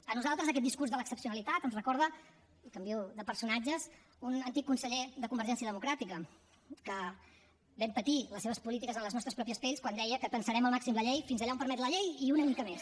a nosaltres aquest discurs de l’excepcionalitat ens recorda i canvio de personatges un antic conseller de convergència democràtica que vam patir les seves polítiques en les nostres pròpies pells quan deia que tensarem al màxim la llei fins allà on permet la llei i una mica més